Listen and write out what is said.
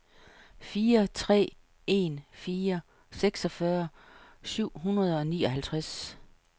fire tre en fire seksogfyrre syv hundrede og nioghalvtreds